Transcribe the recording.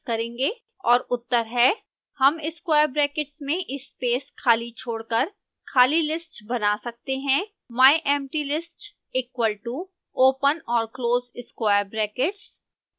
और उत्तर हैं